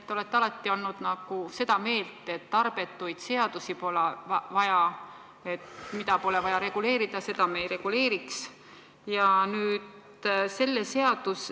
Te olete alati olnud seda meelt, et tarbetuid seadusi pole vaja, et me ei reguleeriks seda, mida pole vaja reguleerida.